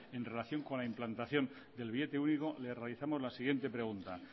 en relación con la implantación del billete único le realizamos la siguiente pregunta